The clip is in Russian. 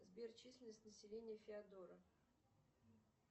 сбер численность населения феодоро